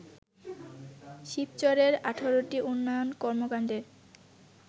শিবচরের ১৮ টি উন্নয়ন কর্মকাণ্ডের